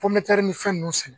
ni fɛn ninnu sɛnɛ